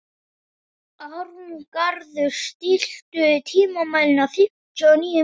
Arngarður, stilltu tímamælinn á fimmtíu og níu mínútur.